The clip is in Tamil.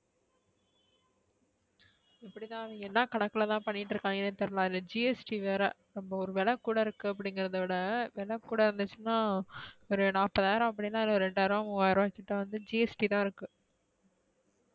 இப்டி தான் அவிங்க என்ன கணக்குல தான் பண்ணிட்டு இருக்கீரங்கனு தெரியல அதுல GST வேற நம்ம ஒரு விலை கூட இருக்கு அப்டிங்கறதவிட. விலை கூட இருந்துச்சுனா ஒரு நாப்பதயிரம் அப்டினா ரெண்டயிராம் மூவயிரம் கிட்ட வந்து GST தான் இருக்கு.